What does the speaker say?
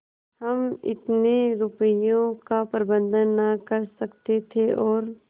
हम इतने रुपयों का प्रबंध न कर सकते थे और